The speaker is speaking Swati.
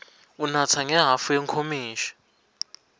unatsa ngehhafu yenkomishi